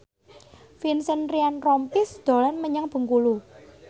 Vincent Ryan Rompies dolan menyang Bengkulu